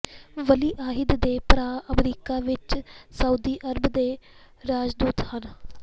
ਵਲੀ ਅਹਿਦ ਦੇ ਭਰਾ ਅਮਰੀਕਾ ਵਿਚ ਸਾਊਦੀ ਅਰਬ ਦੇ ਰਾਜਦੂਤ ਹਨ